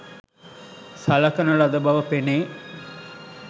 සලකන ලද බව පෙනේ.